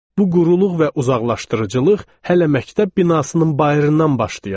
Bu quruluq və uzaqlaşdırıcılıq hələ məktəb binasının bayırından başlayırdı.